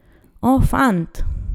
O, fant!